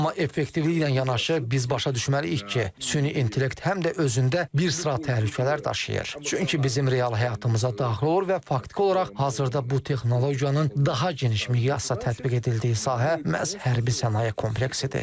Amma effektivliklə yanaşı biz başa düşməliyik ki, süni intellekt həm də özündə bir sıra təhlükələr daşıyır, çünki bizim real həyatımıza daxil olur və faktiki olaraq hazırda bu texnologiyanın daha geniş miqyasda tətbiq edildiyi sahə məhz hərbi sənaye kompleksidir.